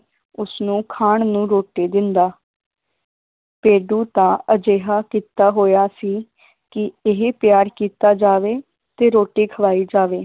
ਉਸਨੂੰ ਖਾਣ ਨੂੰ ਰੋਟੀ ਦਿੰਦਾ ਭੇਡੂ ਦਾ ਅਜਿਹਾ ਕੀਤਾ ਹੋਇਆ ਸੀ ਕਿ ਇਹ ਪਿਆਰ ਕੀਤਾ ਜਾਵੇ ਤੇ ਰੋਟੀ ਖਲਾਈ ਜਾਵੇ।